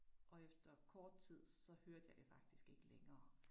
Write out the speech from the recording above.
Og efter kort tid, så hørte jeg det faktisk ikke længere